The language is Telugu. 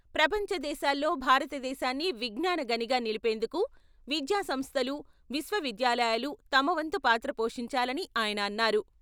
ప్రపంచదేశాల్లో భారతదేశాన్ని విజ్ఞాన గనిగా నిలిపేందుకు విద్యా సంస్థలు, విశ్వవిద్యాలయాలు తమ వంతు పాత్ర పోషించాలని ఆయన అన్నారు.